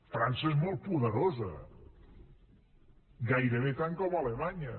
frança és molt poderosa gairebé tant com alemanya